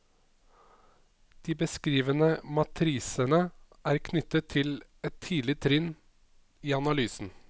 De beskrivende matrisene er knyttet til et tidlig trinn i analysen.